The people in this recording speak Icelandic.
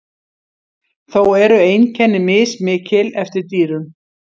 Þó eru einkenni mismikil eftir dýrum.